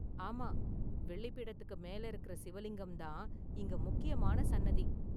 ஆமா, வெள்ளி பீடத்துக்கு மேல இருக்குற சிவலிங்கம்தான் இங்க முக்கியமான சன்னதி.